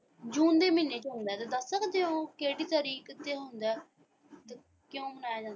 ਜੂਨ ਦੇ ਮਹੀਨੇ ਵਿੱਚ ਹੁੰਦਾ ਤੁਸੀਂ ਦੱਸ ਸਕਦੇ ਹੋ ਕਿਹੜੀ ਤਰੀਕ ਤੇ ਹੁੰਦਾ ਤੇ ਕਿਉਂ ਮਨਾਇਆ ਜਾਂਦਾ ਹੈ?